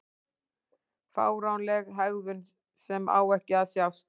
Fáránleg hegðun sem á ekki að sjást.